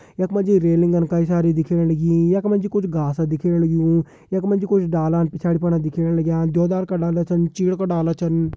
यख मा जी रेलिंगन कई सारी दिखेण लगीं यख मा जी कुछ घासा दिखेण लग्युं यख मा जी कुछ डाला पिछाड़ी फणा दिखेण लग्यां द्वेदार का डाला छन चीड़ का डाला छन।